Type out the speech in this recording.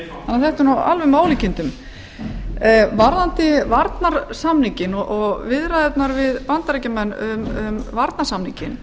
þetta er nú alveg með ólíkindum varðandi varnarsamninginn og viðræðurnar við bandaríkjamenn um varnarsamninginn